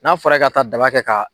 N'a fɔra i ka taa daba kɛ ka